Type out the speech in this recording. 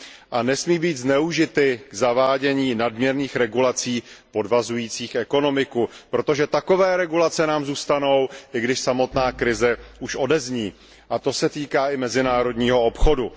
a nesmí být zneužity k zavádění nadměrných regulací podvazujících ekonomiku, protože takové regulace nám zůstanou, i když samotná krize už odezní, a to se týká i mezinárodního obchodu.